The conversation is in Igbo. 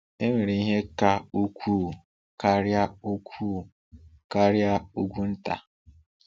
Enwere ihe ka ukwuu karịa ukwuu karịa ugwu nta.